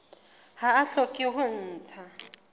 ha ba hloke ho ntsha